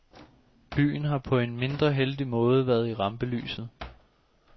Byen har på en mindre heldig måde været i rampelyset.